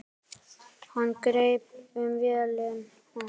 Hann greip um vélina.